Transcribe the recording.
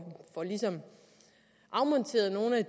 afmonteret nogle af